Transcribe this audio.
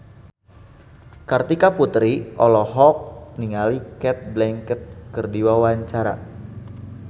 Kartika Putri olohok ningali Cate Blanchett keur diwawancara